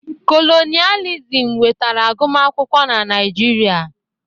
Kolonịalizim wetara agụmakwụkwọ na Naịjirịa.